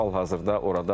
Hal-hazırda oradadır.